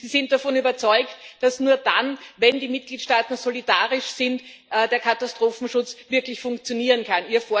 Sie sind davon überzeugt, dass nur dann, wenn die Mitgliedstaaten solidarisch sind, der Katastrophenschutz wirklich funktionieren kann.